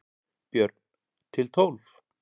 Björn: Til tólf?